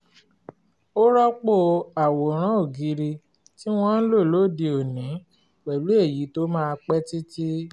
ó rọ́pò àwòrán ògiri tí wọ́n ń lò lóde òní pẹ̀lú èyí tó máa pẹ́ títí